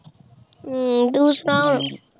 ਅਮ ਤੂ ਸੁਣਾ ਹੋਰ